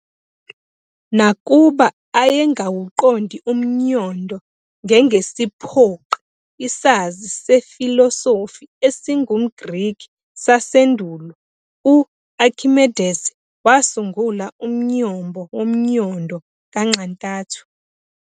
Nakuba ayengawuqondi umnyondo ngengesiphoqi isazi sefilosofi esingumGreki sasendulo u- Akhimedesi wasungula umnyombo womnyondo kanxantathu.